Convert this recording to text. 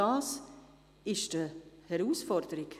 Das ist eine Herausforderung.